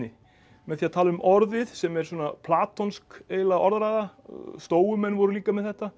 með því að tala um orðið sem er svona eiginlega orðræða voru líka með þetta